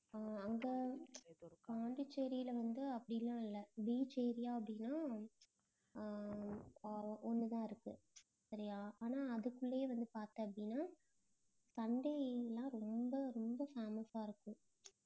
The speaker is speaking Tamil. அஹ் அங்க பாண்டிச்சேரியில வந்து அப்படிலாம் இல்லை beach area அப்படின்னா அஹ் ஒண்ணுதான் இருக்கு சரியா ஆனா அதுக்குள்ளேயே வந்து பார்த்தோம் அப்படின்னா, sunday எல்லாம் ரொம்ப ரொம்ப famous ஆ இருக்கும்